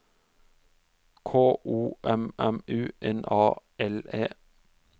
K O M M U N A L E